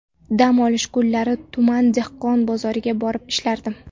Dam olish kunlari tuman dehqon bozoriga borib ishlardim.